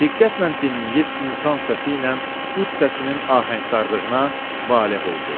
Diqqətlə dinləyib insan səsi ilə ud səsinin ahəngdarlığına valeh oldu.